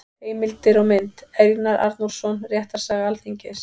Heimildir og mynd: Einar Arnórsson: Réttarsaga Alþingis.